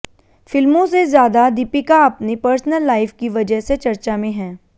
फिल्मों से ज्यादा दीपिका अपनी पर्सनल लाइफ की वजह से चर्चा में हैं